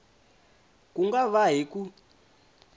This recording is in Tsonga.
ku nga va hi ku